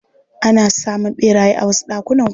Ana samun ɓeraye a wasu ɗakunan kwana.